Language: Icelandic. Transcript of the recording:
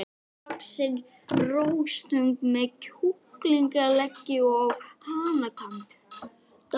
Innihaldið flæddi um kverkarnar fram eftir kvöldi.